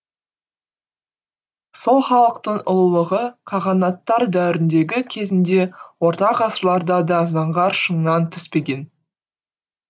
сол халықтың ұлылығы қағанаттар дәуіріндегі кезіңде орта ғасырларда да заңғар шыңнан түспеген